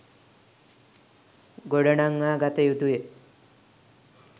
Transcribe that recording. ගොඩනංවාගත යුතු ය.